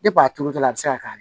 Depi a turutɔla a bɛ se ka k'a la